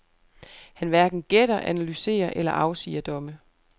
Han hverken gætter, analyserer eller afsiger domme.